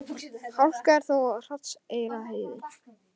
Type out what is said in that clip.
Hálka er þó á Hrafnseyrarheiði